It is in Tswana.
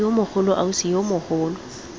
yo mogolo ausi yo mogolo